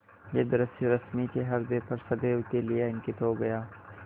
यह दृश्य रश्मि के ह्रदय पर सदैव के लिए अंकित हो गया